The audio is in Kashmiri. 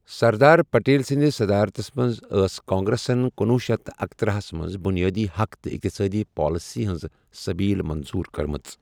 سردار پٹیل سنٛدِس صدارتس منٛز ٲس کانگریسن کنُۄہ شیتھ تہٕ اکتٔرہ ہَس منٛز 'بنیادی حق تہٕ اقتصٲدی پالیسی' ہنٛز سٔبیٖل منظور کٔرمٕژ۔